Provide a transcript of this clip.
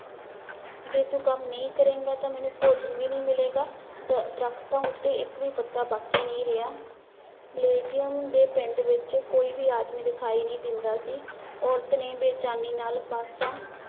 ਜੇ ਤੂੰ ਕੰਮ ਨਹੀਂ ਕਰੇਂਗਾ ਤਾਂ ਮੈਨੂੰ ਭੋਜਨ ਵੀ ਨੀ ਮਿਲੇਗਾ, ਦ ਦਰਖਤਾਂ ਉੱਤੇ ਇੱਕ ਵੀ ਪੱਤਾ ਬਾਕੀ ਨਹੀਂ ਰਿਹਾ, ਬਲੇਜੀਅਮ ਦੇ ਪਿੰਡ ਵਿੱਚ ਕੋਈ ਵੀ ਆਦਮੀ ਦਿਖਾਈ ਨਹੀਂ ਦਿੰਦਾ ਸੀ, ਔਰਤ ਨੇ ਬੇਚੈਨੀ ਨਾਲ ਪਾਸਾ